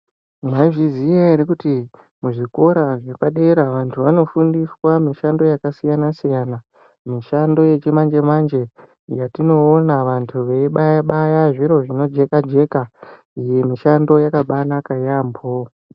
Maizviziya ere kuti muzvikora zvepadera vantu vanofundiswa mishando yakasiyana siyana mishando yechimanje manje yatinoona vantu veibaya baya zviro zvinojeka jeka iyi mishando yakabanaka yaambo.